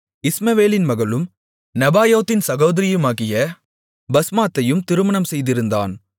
இஸ்மவேலின் மகளும் நெபாயோத்தின் சகோதரியுமாகிய பஸ்மாத்தையும் திருமணம் செய்திருந்தான்